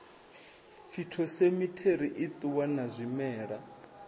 phytosamitary i ṱuwa na zwimela